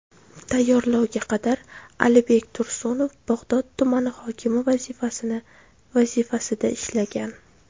Tayinlovga qadar Alibek Tursunov Bag‘dod tumani hokimi vazifasida ishlagan.